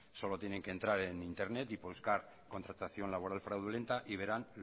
solo tiene que entrar en internet y buscar contratación laboral fraudulenta y verán